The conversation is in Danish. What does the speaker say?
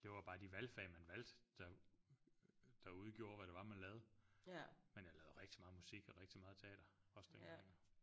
Det var bare de valgfag man valgte der der udgjorde hvad det var man lavede men jeg lavede rigtig meget musik og rigtig meget teater også dengang jo